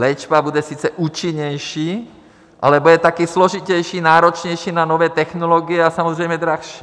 Léčba bude sice účinnější, ale bude také složitější, náročnější na nové technologie a samozřejmě dražší.